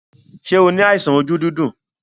Ṣé o ní àìsàn ojú dídùn?